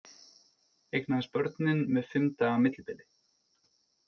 Eignaðist börnin með fimm daga millibili